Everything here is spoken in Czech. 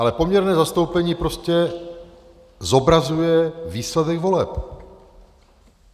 Ale poměrné zastoupení prostě zobrazuje výsledek voleb.